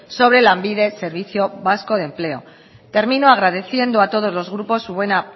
sobre lanbide servicio vasco de empleo termino agradeciendo a todos los grupos su buena